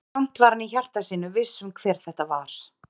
Samt var hann í hjarta sínu viss um hver þetta var.